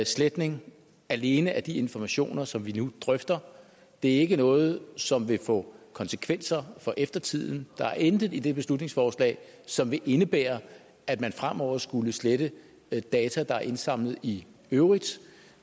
sletning alene af de informationer som vi nu drøfter det er ikke noget som vil få konsekvenser for eftertiden der er intet i det beslutningsforslag som vil indebære at man fremover skulle slette data der er indsamlet i øvrigt